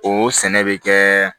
O sɛnɛ bɛ kɛ